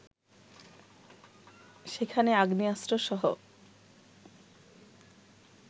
সেখানে আগ্নেয়াস্ত্রসহ